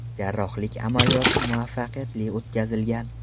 Jarrohlik amaliyoti muvaffaqiyatli o‘tkazilgan.